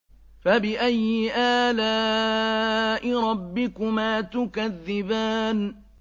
فَبِأَيِّ آلَاءِ رَبِّكُمَا تُكَذِّبَانِ